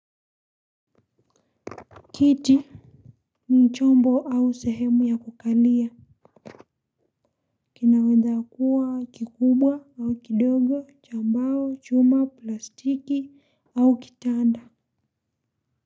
Kiti ni chombo au sehemu ya kukalia kinaweza kuwa kikubwa au kidogo cha mbao chuma plastiki au kitanda.